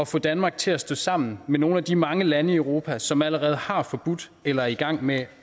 få danmark til at stå sammen med nogle af de mange lande i europa som allerede har forbudt eller er i gang med